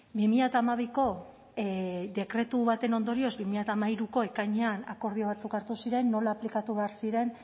bi mila hamabiko dekretu baten ondorioz bi mila hamairuko ekainean akordio batzuk hartu ziren nola aplikatu behar ziren